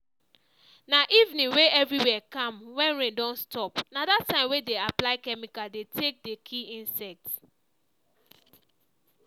na evening wey everywhere calm wen rain don stop na dat time wey dey apply chemical dey take dey kill insect